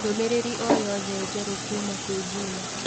ndũmĩrĩri o yothe njerũ kuuma kwĩ Juma